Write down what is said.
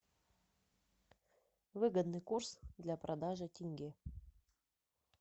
выгодный курс для продажи тенге